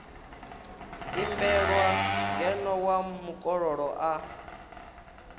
imbelwa ngeno wa mukololo a